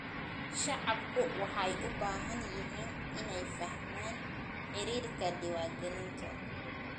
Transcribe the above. Shacabku waxay u baahan yihiin inay fahmaan xeerarka diiwaangelinta.